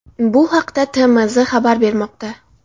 Bu haqda TMZ xabar bermoqda .